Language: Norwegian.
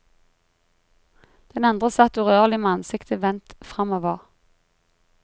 Den andre satt urørlig med ansiktet vendt framover.